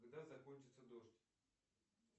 когда закончится дождь